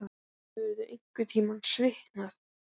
Hefur hann einhverntímann svitnað?